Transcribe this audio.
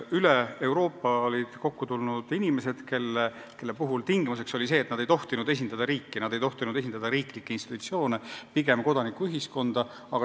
Üle Euroopa olid kokku tulnud inimesed, kelle puhul tingimuseks oli see, et nad ei tohtinud esindada riiki, riiklikke institutsioone, vaid pigem kodanikuühiskonda.